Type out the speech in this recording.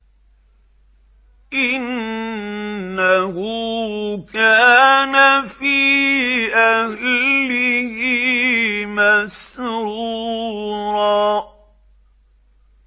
إِنَّهُ كَانَ فِي أَهْلِهِ مَسْرُورًا